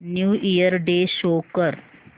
new year day show कर